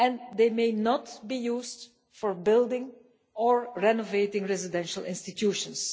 They may not be used for building or renovating residential institutions.